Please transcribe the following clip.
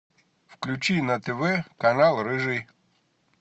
включи на тв канал рыжий